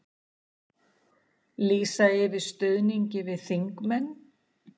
Lýsa yfir stuðningi við þingmenn